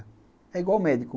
É igual o médico.